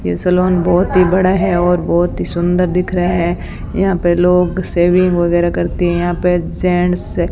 ये सैलोन बहुत ही बड़ा है और बहुत ही सुंदर दिख रहा है यहां पे लोग सेविंग वगैरा करते हैं यहां पे जेंट्स --